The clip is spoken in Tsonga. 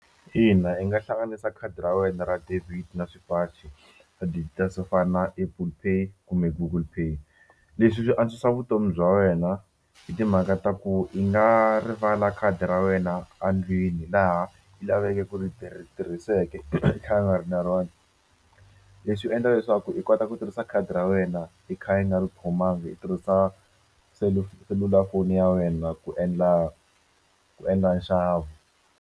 Ina, i nga hlanganisa khadi ra wena ra debit na swipachi swo fana na Apple pay kumbe Google pay leswi hi swi antswisa vutomi bya wena hi timhaka ta ku i nga rivala khadi ra wena a ndlwini laha i laveke ku ri tirhi tirhiseke i kha u nga ri na rona leswi endla leswaku i kota ku tirhisa khadi ra wena i kha i nga ri khomangi u tirhisa selulafoni ya wena ku endla ku endla nxavo.